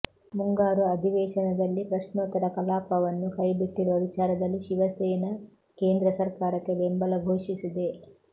ಮುಂಗಾರು ಅಧಿವೇಶನದಲ್ಲಿ ಪ್ರಶ್ನೋತ್ತರ ಕಲಾಪವನ್ನು ಕೈಬಿಟ್ಟಿರುವ ವಿಚಾರದಲ್ಲಿ ಶಿವಸೇನೆ ಕೇಂದ್ರ ಸರ್ಕಾರಕ್ಕೆ ಬೆಂಬಲ ಘೋಷಿಸಿದೆ